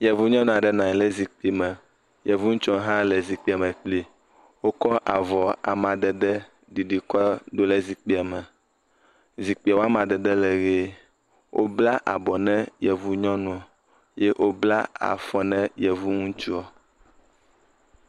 Yevu nyɔnu ale nɔ anyi le zikpime. Yevu ŋutsua hã nɔ anyi le zikpia me kplii. Wokɔ avɔ amadede ɖiɖi kɔ do le zikpia me. Zikpia wo amadede le ʋie. Wobla abɔ na yevu nyɔnuɔ. Ye wobla afɔ na Yevu ŋutsuɔ.